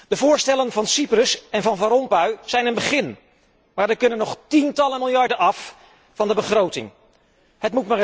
De voorstellen van Cyprus en van Van Rompuy zijn een begin, maar er kunnen nog tientallen miljarden van de begroting af.